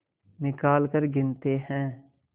निकालकर गिनते हैं